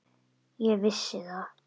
Ég vissi það.